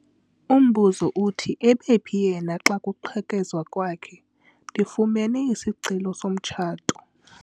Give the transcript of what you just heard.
Umbuzo uthi ebephi yena xa kuqhekezwa kwakhe? ndifumene isicelo somtshato